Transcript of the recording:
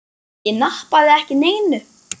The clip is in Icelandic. Ég nappaði ekki neinu.